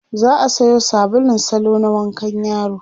za'a Sayo sabulun salo na wankan yaro